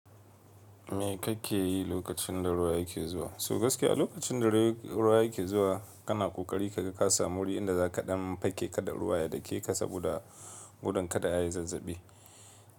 Me kake yi lokacin da ruwa yake zuwa? So gaskiya lokacin da ruwa yake zuwa kana ƙoƙari ka ga ka samu wuri in da za kaɗan fake kada ruwa ya dake ka saboda gudun kada ayi zazzabi.